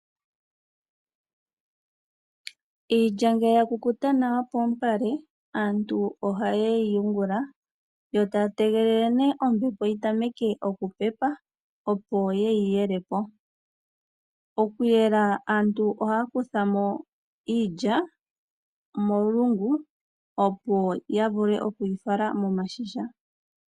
Iilya ngele ya kukuta nawa poompale, aantu ohaye yi yungula, e taya tegelele nee ombepo yi tameke oku pepa, opo yeyi yele po. Okuyela aantu ohaya kutha mo iilya molungu, opo ya vule oku yi fala momashisha.